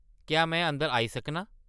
क्या में अंदर आई सकनां ?